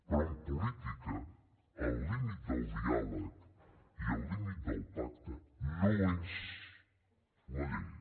però en política el límit del diàleg i el límit del pacte no és la llei